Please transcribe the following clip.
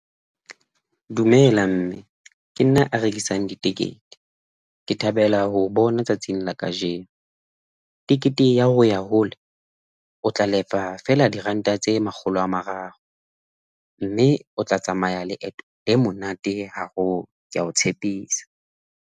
Dumela mme ke nna a rekisang ditekete. Ke thabela ho o bona tsatsing la kajeno, tekete ya ho ya hole o tla lefa feela diranta tse makgolo a mararo mme o tla tsamaya leeto le monate haholo ke a o tshepisa.